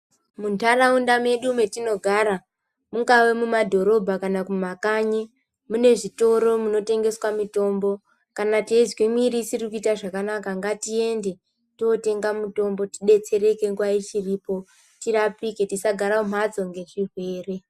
Muntaraunda medu metinogara, mungave mumadhorobha kana kumakanyi, mune zvitoro munotengeswa mitombo. Kana teizwe mwiiri isiri kuita zvakanaka, ngatiende tootenga mitombo tidetsereke nguva ichiripo, tirapike. Tisagara mumhatso ngezvirwere.